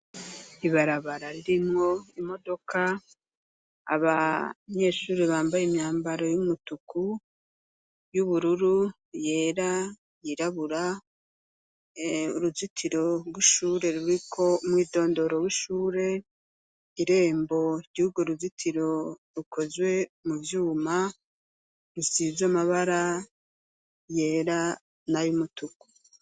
Ibarabara, ririmwo imodoka, abanyeshure, bambaye imyambaro y'umutuku, y'ubururu, yera, yirabura; uruzitiro rw'ishure, ruriko umwidondoro w'ishure, irembo ry'urwo ruzitiro, rukozwe mu vyuma, rusize amabara yera n'ay'umutuku.